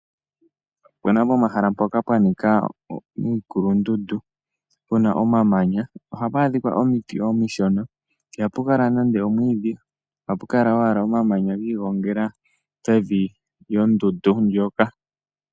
Ope na pomahala mpoka pwa nika iikulundundu pu na omamanya. Ohapu adhika omiiti omishona. Ihapu kala nande omwiidhi. Ohapu kala owala omamanya gi igongela pevi lyondundu ndjoka.